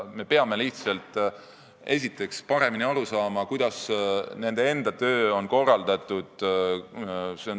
Me peame lihtsalt paremini aru saama, kuidas nende töö on korraldatud.